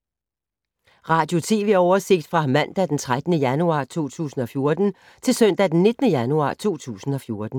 Radio/TV oversigt fra mandag d. 13. januar 2014 til søndag d. 19. januar 2014